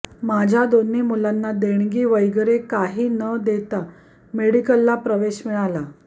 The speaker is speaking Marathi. माझ्या दोन्ही मुलांना देणगी वगैरे काही न देता मेडिकलला प्रवेश मिळाला